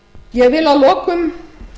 ég vil að lokum